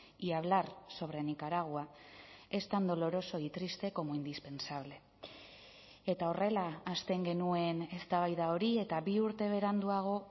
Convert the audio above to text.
y hablar sobre nicaragua es tan doloroso y triste como indispensable eta horrela hasten genuen eztabaida hori eta bi urte beranduago